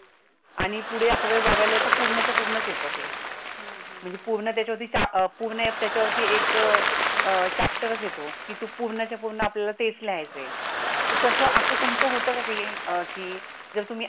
आणि पुढे अकरावी बारावीला तर पूर्णच पूर्णच येतं ते. म्हणजे पूर्ण त्याच्यावरती एक चाफ्टर येतो पूर्णच पूर्ण आपल्याला तेच लिहायचं, अस तुमच होत का